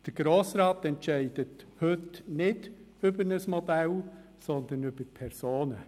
Der Grosse Rat entscheidet heute nicht über ein Modell, sondern über Personen.